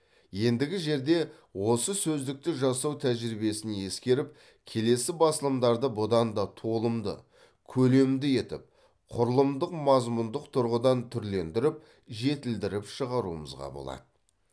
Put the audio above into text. ендігі жерде осы сөздікті жасау тәжірибесін ескеріп келесі басылымдарды бұдан да толымды көлемді етіп құрылымдық мазмұндық тұрғыдан түрлендіріп жетілдіріп шығаруымызға болады